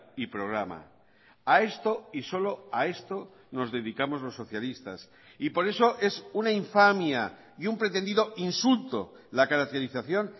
y programa a esto y solo a esto nos dedicamos los socialistas y por eso es una infamia y un pretendido insulto la caracterización